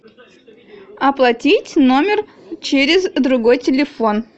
оплатить номер через другой телефон